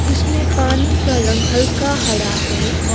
इसमें पानी का रंग हल्का हरा है ओ--